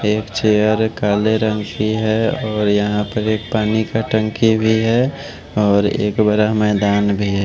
एक चेयर हैं काले रंग की हैं और यहां पे एक पानी का टंकी भी है और एक बड़ा मैदान भी हैं।